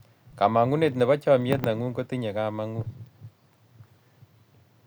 kamangunet nebo chamiet nengug kotinye kamangut